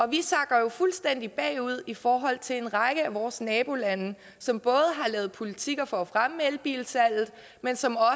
vi sakker jo fuldstændig bagud i forhold til en række af vores nabolande som både har lavet politikker for at fremme elbilsalget men som